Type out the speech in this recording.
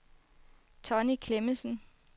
Tonni Clemmensen